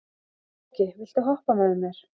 Flóki, viltu hoppa með mér?